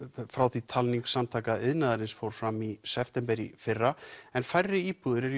frá því talning Samtaka iðnaðarins fór fram í september í fyrra en færri íbúðir eru í